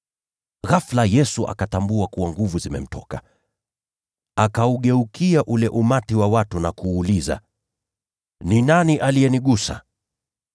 Ghafula Yesu akatambua kuwa nguvu zimemtoka. Akaugeukia ule umati wa watu na kuuliza, “Ni nani aliyegusa mavazi yangu?”